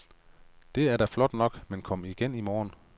Det er da flot nok, men kom igen i morgen.